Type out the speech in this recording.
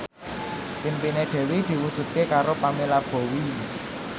impine Dewi diwujudke karo Pamela Bowie